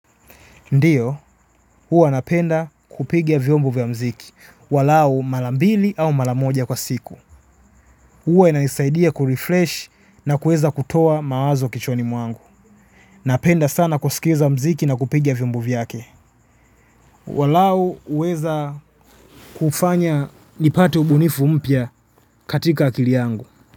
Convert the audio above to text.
Ndiyo, huwa napenda kupiga vyombo vya mziki, walau mara mbili au mara moja kwa siku. Huwa inanisaidia kurefresh na kuweza kutoa mawazo kichwani mwangu. Napenda sana kusikiza mziki na kupiga vyombo vyake. Walau huweza kufanya nipate ubunifu mpya katika akili yangu.